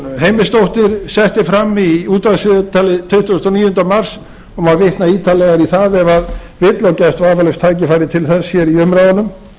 heimisdóttir setti fram í útvarpsviðtali tuttugasta og níunda mars það má vitna ítarlegar í það ef vill og gefst vafalaust tækifæri til þess hér í umræðunum